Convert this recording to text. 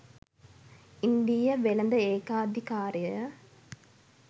ඉන්දීය වෙළෙඳ ඒකාධිකාරය